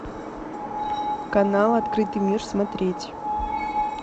канал открытый мир смотреть